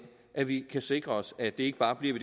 at vi kan sikre os at det ikke bare bliver